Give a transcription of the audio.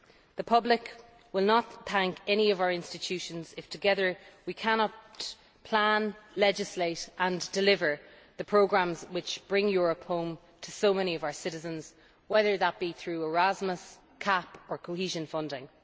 The public will not thank any of our institutions if, together, we cannot plan, legislate and deliver the programmes which bring Europe home to so many of our citizens, whether that be through Erasmus, CAP or cohesion funding.